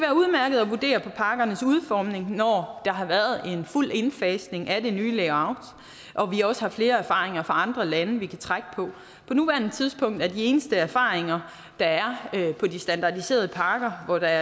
at vurdere på pakkernes udformning når der har været en fuld indfasning af det nye layout og vi også har flere erfaringer fra andre lande vi kan trække på på nuværende tidspunkt er de eneste erfaringer der er på de standardiserede pakker hvor der